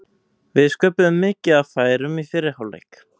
Við sköpuðum mikið af færum í fyrri hálfleik.